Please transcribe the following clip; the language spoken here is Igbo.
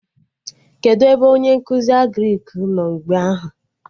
Kedụ ebe onye nkụzi Agrịk nọ mgbe ahụ?